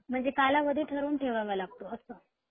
म्हणजे कालावधी ठरवून ठेवावा लागतो अस